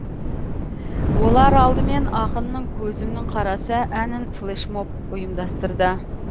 олар алдымен ақынның көзімнің қарасы әнін флешмоб ұйымдастырды